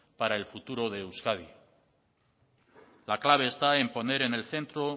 para el futuro de euskadi la clave está en poner en el centro